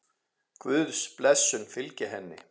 Guðs blessun fylgi henni.